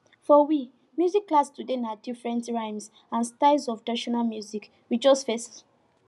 for we music class today na different rhymes and styles of traditional music we just face